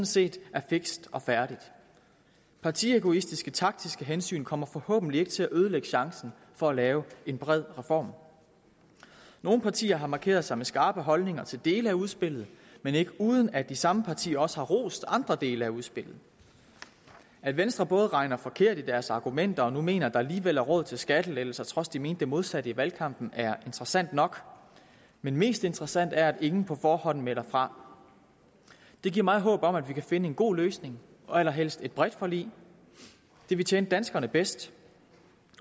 set er fikst og færdigt partiegoistiske og taktiske hensyn kommer forhåbentlig ikke til at ødelægge chancen for at lave en bred reform nogle partier har markeret sig med skarpe holdninger til dele af udspillet men ikke uden at de samme partier også har rost andre dele af udspillet at venstre både regner forkert i deres argumenter og nu mener at der alligevel er råd til skattelettelser trods de mente det modsatte i valgkampen er interessant nok men mest interessant er det at ingen på forhånd melder fra det giver mig håb om at vi kan finde en god løsning og allerhelst et bredt forlig det vil tjene danskerne bedst